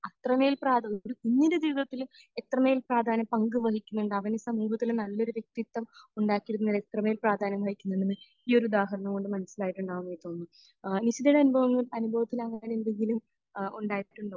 അത്രമേൽ പ്രാധാന്യം ഒരു കുഞ്ഞിന്റെ ജീവിതത്തിൽ എത്രമേൽ പ്രാധാന്യം പങ്ക് വഹിക്കുന്നു എന്നതിന് അവന് സമൂഹത്തിൽ നല്ലൊരു വ്യക്തിത്വം ഉണ്ടാക്കിയെടുക്കുന്നതിന് എത്രമേൽ പ്രാധാന്യം വഹിക്കുന്നുണ്ടെന്ന് ഈ ഒരു ഉദാഹരണം കൊണ്ട് മനസ്സിലായിട്ടുണ്ടാകുമെന്ന് തോന്നുന്നു. ഏഹ് നിഷിദയുടെ എന്താ അനുഭവത്തിൽ അങ്ങനെ എന്തെങ്കിലും അഹ് ഉണ്ടായിട്ടുണ്ടോ?